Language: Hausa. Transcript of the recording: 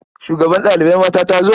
Shugabar ɗalibai mata ta zo?